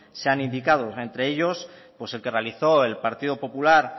se han indicado entre ellos pues el que realizó el partido popular